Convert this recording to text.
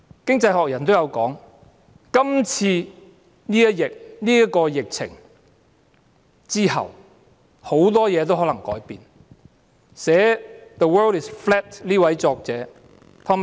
《經濟學人》亦有指出，今次疫情之後，很多事情可能也會改變。